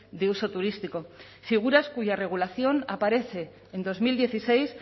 de uso turístico figuras cuya regulación aparece en dos mil dieciséis